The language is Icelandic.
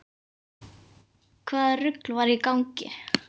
Hvaða rugl var í gangi?